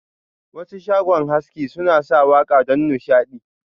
Wasu shago haski suna sa waka don nishadi.